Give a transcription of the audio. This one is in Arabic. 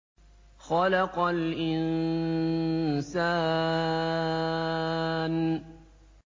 خَلَقَ الْإِنسَانَ